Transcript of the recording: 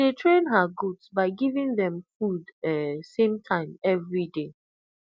she dey train her goat by giving dem food um same time everyday